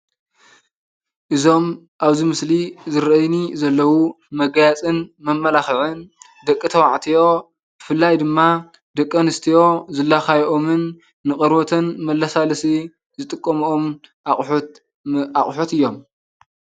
እዞም ኣብዚ ምስሊ ዝረኣዩኒ ዘለው መጋየፅን መመላክዕን ደቂ ተባዕትዮ ብፍላይ ድማ ደቂ ኣንስትዮ ዝላካየኦምንን ንቆርበተን መላሰለሲ ዝጥቀምኦን ኣቁሑት እዮም።